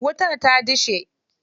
Wutar ta dishe.